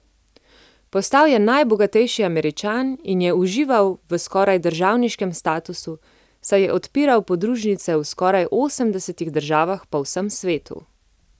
Postal je najbogatejši Američan in je užival v skoraj državniškem statusu, saj je odpiral podružnice v skoraj osemdesetih državah po vsem svetu.